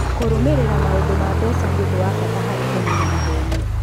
Kũrũmĩrĩra maũndu ma mbeca nĩ ũndũ wa bata harĩ kũmenya maheni.